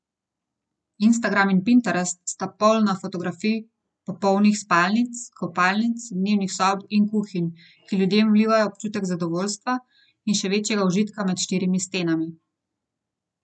Instagram in Pinterest sta polna fotografij popolnih spalnic, kopalnic, dnevnih sob in kuhinj, ki ljudem vlivajo občutek zadovoljstva in še večjega užitka med štirimi stenami.